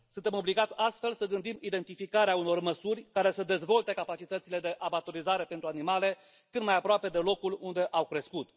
Suntem obligați astfel să gândim identificarea unor măsuri care să dezvolte capacitățile de abatorizare pentru animale cât mai aproape de locul unde au crescut.